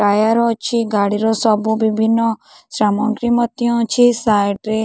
tyre ଅଛି ଗାଡିର ସବୁ ବିଭିନ୍ନ ସାମଗ୍ରୀ ମଧ୍ୟ ଅଛି ସାଇଟ ରେ --